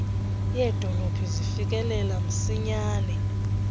yedolophu zifikelela msinyane